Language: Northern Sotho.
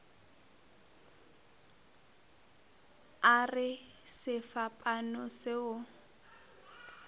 a re sefapano se o